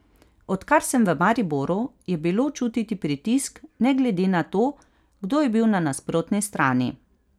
Odkar sem v Mariboru, je bilo čutiti pritisk ne glede na to, kdo je bil na nasprotni strani.